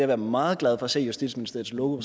være meget glad for at se justitsministeriets logo